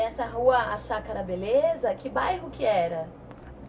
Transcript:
E essa rua, a Chácara Beleza, que bairro que era?